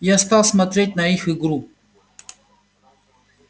я стал смотреть на их игру